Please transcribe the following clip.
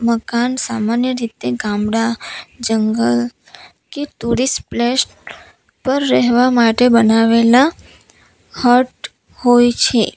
મકાન સામાન્ય રીતે ગામડા જંગલ કે ટુરીસ્ટ પ્લેસ પર રહેવા માટે બનાવેલા હટ હોય છે.